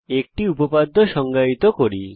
একটি উপপাদ্য সংজ্ঞায়িত করি